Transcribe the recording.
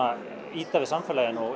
ýta við samfélaginu og